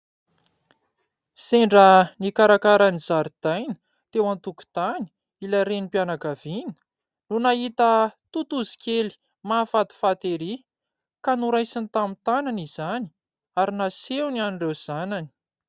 Sendra nikarakara ny zaridaina teo an-tokotany ilay renim-pianakaviana no nahita totozy kely mahafatifaty erỳ, ka noraisiny tamin'ny tanany izany ary nasehony an'ireo zanany.